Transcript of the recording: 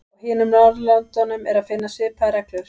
Á hinum Norðurlöndunum er að finna svipaðar reglur.